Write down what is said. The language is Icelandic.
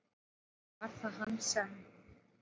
Og var það hann sem?